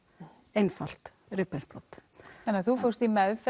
einfalt rifbeinsbrot þannig þú fórst í meðferð